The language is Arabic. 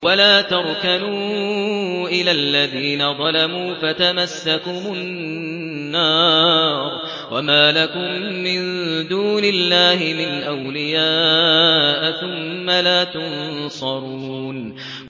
وَلَا تَرْكَنُوا إِلَى الَّذِينَ ظَلَمُوا فَتَمَسَّكُمُ النَّارُ وَمَا لَكُم مِّن دُونِ اللَّهِ مِنْ أَوْلِيَاءَ ثُمَّ لَا تُنصَرُونَ